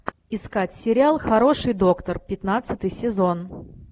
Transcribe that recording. искать сериал хороший доктор пятнадцатый сезон